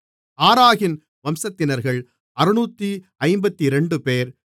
ஆராகின் வம்சத்தினர்கள் 652 பேர்